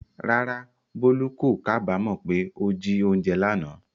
Rárá, Bolu kò kábàámọ̀ pé ó jí oúnjẹ lánàá.